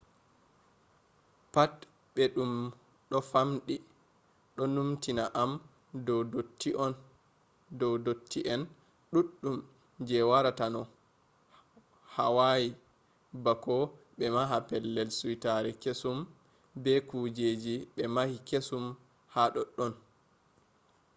pat ɓe ɗum ɗo famɗi ɗo numtina am dow dotti en ɗuɗɗum je waratano hawayi bako ɓe maha pellel suitare kesum be kujeji ɓe mahi kesum ha ɗoɗɗon